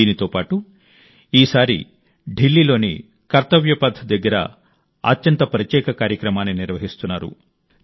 దీంతోపాటు ఈసారి ఢిల్లీలోని కర్తవ్య పథ్ దగ్గర అత్యంత ప్రత్యేక కార్యక్రమాన్ని నిర్వహిస్తున్నారు